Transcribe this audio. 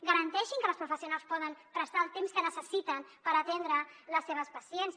garanteixin que les professionals poden prestar el temps que necessiten per atendre les seves pacients